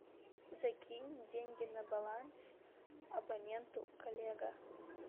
закинь деньги на баланс абоненту коллега